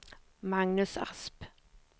Magnus Asp